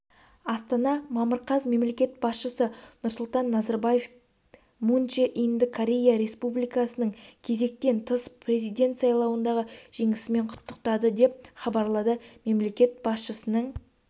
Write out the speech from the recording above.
астана мамыр қаз мемлекет басшысы нұрсұлтан назарбаев мун чже инді корея республикасыныңкезектен тыс президент сайлауындағы жеңісімен құттықтады деп хабарлады мемлекет басшысының